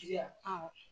Tiyan awɔ